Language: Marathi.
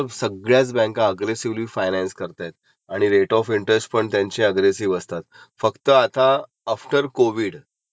त्यामुळे तुमचा सिबिल जेवढा जास्त तेवढा तुम्हाला रेट ऑफ इनट्रेस कमी. तर त्याच्यामुळे ध्यान्यात ठेवायचं आपला सिबिल